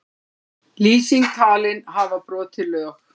Lýsing talin hafa brotið lög